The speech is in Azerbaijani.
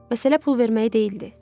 Məsələ pul verməyi deyildi.